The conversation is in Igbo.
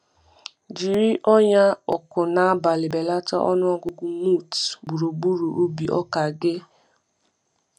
Jiri ọnyà ọkụ n’abalị belata ọnụ ọgụgụ moths gburugburu ubi ọka gị. ubi ọka gị.